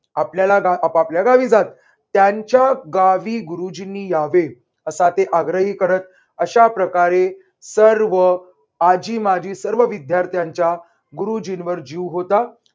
आपल्याला आपापल्या गावी जात. त्यांच्या गावी गुरुजींनी यावे असा ते आग्रह करत. अशाप्रकारे सर्व आजी माजी सर्व विद्यार्थ्यांच्या गुरुजींवर जीव होता.